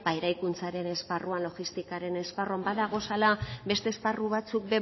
eraikuntzaren esparruan logistikaren esparruan badagozala beste esparru batzuk